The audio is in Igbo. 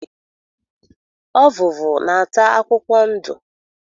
Ọvụvụ na-ata akwụkwọ ndo.